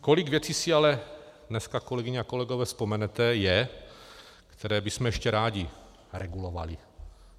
Kolik věcí si ale dneska, kolegyně a kolegové, vzpomenete, je, které bychom ještě rádi regulovali.